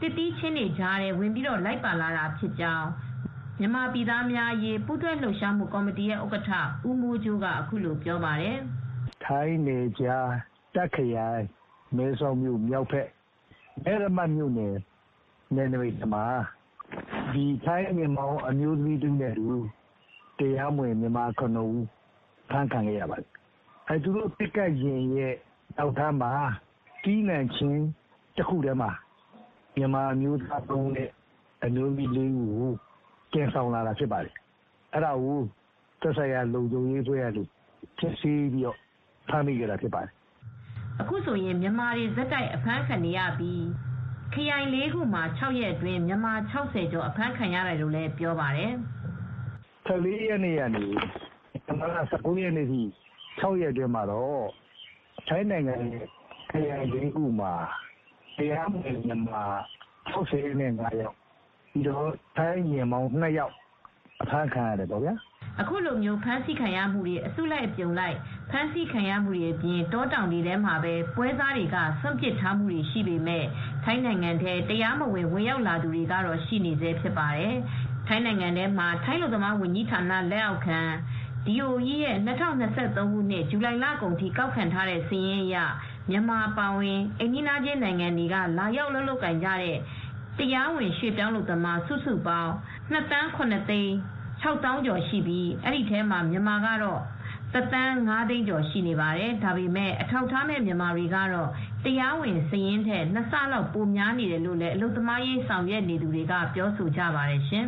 သစ်သီးခြင်းတွေကြားထဲမှာ လိုက်ပါလာတာဖြစ်ကြောင်း မြန်မာပြည်သားများအရေး ပူးတွဲလှုပ်ရှားမှုကော်မတီရဲ့ဥက္ကဋ္ဌ ဦးမိုးကြိုးက အခုလိုပြောပါတယ်။ “ထိုင်းနယ်ခြား တာ့ခရိုင် မဲဆောက်မြို့မြောက်ဘက် မဲရမတ်မြို့နယ် နယ်နမိတ်ထဲမှာ ထိုင်းယာဉ်မောင်း အမျိုးသမီးတဦးနဲ့အတူ တရားမဝင်လာတဲ့ မြန်မာနိုင်ငံသား ၇ ဦး ဖမ်းမိခဲ့ပါတယ်။ သူတို့က ပစ်ကပ်ယာဉ်နောက်ခန်းက သစ်သီးခြင်းတွေထဲမှာ မြန်မာအမျိုးသမီး ၃ ဦးနဲ့ အမျိုးသား ၄ ဦးကို သယ်ဆောင်လာတာဖြစ်ပါတယ်။ အဲဒါကို သက်ဆိုင်ရာ လုံခြုံရေးအဖွဲ့ကနေ စစ်ဆေးပြီး ဖမ်းဆီးခဲ့တာဖြစ်ပါတယ်။” အခုဆိုရင် မြန်မာတွေဆက်တိုက် အဖမ်းခံနေရပြီး ခရိုင် ၄ ခုမှာ ၆ ရက်အတွင်း မြန်မာ ၆၀ ကျော် အဖမ်းခံထားရတယ်လို့လည်း ပြောပါတယ်။ “၁၄ ရက်နေ့က ဒီဇင်ဘာလ ၁၉ ရက်နေ့အထိ ထိုင်းနိုင်ငံရဲ့ခရိုင် ၄ ခုမှာ တရားမဝင်လာတဲ့ မြန်မာ ၆၅ ယောက်နဲ့ ထိုင်းယာဉ်မောင်းက ၂ ယောက် အဖမ်းခံရပါတယ်။” အခုလိုမျိုး ဖမ်းဆီးခံရမှုတွေ မကြာခဏ ကြုံနေရပြီး အစုလိုက်အပြုံလိုက် အဖမ်းခံရတာနဲ့ တောတောင်တွေထဲမှာပဲ ပွဲစားတွေက စွန့်ပစ်ထားခဲ့တာတွေရှိနေပေမယ့် ထိုင်းနိုင်ငံထဲ တရားမဝင် ဝင်ရောက်လာသူတွေကတော့ ရှိနေဆဲဖြစ်ပါတယ်။ ထိုင်းနိုင်ငံထဲမှာ ထိုင်းအလုပ်သမားဝန်ကြီးဌာန လက်အောက်ခံ အလုပ်သမားဌာန (Department of employment) ရဲ့ ၂၀၂၃ ခုနှစ် ဇူလိုင်လကုန်ထိ ကောက်ခံထားတဲ့စာရင်းအရ မြန်မာအပါအဝင် အိမ်နီးချင်းနိုင်ငံတွေက လာရောက် အလုပ်လုပ်ကိုင်နေတဲ့ တရားဝင် ရွှေ့ပြောင်းအလုပ်သမားက စုစုပေါင်း ၂ သန်းခွဲကျော် (၂,၇၆၆,၉၉၇) ရှိပြီး ဒီထဲမှာမြန်မာက ၁ သန်းခွဲကျော် (၁,၅၄၃,၃၅၅) ရှိနေတာပါ။ ဒါပေမယ့် ထိုင်းနိုင်ငံထဲမှာ အထောက်အထားမဲ့ မြန်မာတွေ အများအပြားရှိနေပြီး အခုလို တရားဝင် ထုတ်ပြန်ထားတဲ့ စာရင်းထက် ၂ ဆလောက်ပိုများနေတယ်လို့ အလုပ်သမားရေး ဆောင်ရွက်နေသူတွေက ပြောကြပါတယ်ရှင်